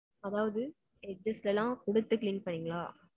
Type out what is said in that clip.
அதாவது, exist எல்லாம் குடுத்து, clean பண்ணீங்களா?